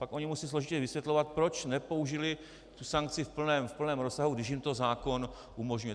Pak ony musí složitě vysvětlovat proč nepoužili tu sankci v plném rozsahu, když jim to zákon umožňuje.